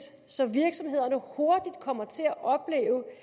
så virksomhederne hurtigt kommer til at opleve